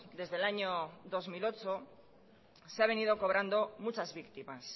desde el año dos mil ocho se ha venido cobrando muchas víctimas